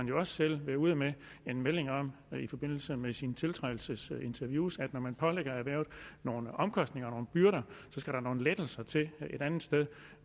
jo også selv været ude med en melding i forbindelse med sine tiltrædelsesinterviews om at når man pålægger erhvervet nogle omkostninger og byrder skal der nogle lettelser til et andet sted